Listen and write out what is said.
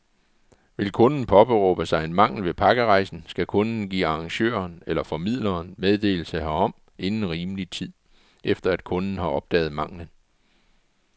Vil kunden påberåbe sig en mangel ved pakkerejsen, skal kunden give arrangøren eller formidleren meddelelse herom inden rimelig tid, efter at kunden har opdaget manglen.